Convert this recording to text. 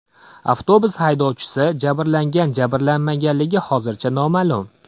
Avtobus haydovchisi jabrlangan-jabrlanmaganligi hozircha noma’lum.